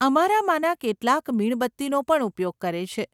અમારામાંના કેટલાક મીણબત્તીનો પણ ઉપયોગ કરે છે.